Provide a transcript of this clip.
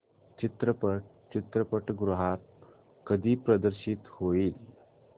चित्रपट चित्रपटगृहात कधी प्रदर्शित होईल